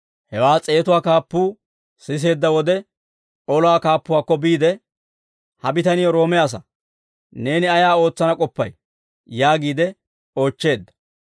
Hewaa s'eetatuwaa kaappuu siseedda wode, olaa kaappuwaakko biide, «Ha bitanii Roome asaa. Neeni ayaa ootsana k'oppay?» yaagiide oochcheedda.